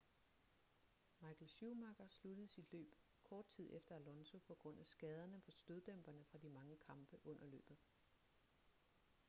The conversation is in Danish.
michael schumacher sluttede sit løb kort tid efter alonso på grund af skaderne på støddæmperne fra de mange kampe under løbet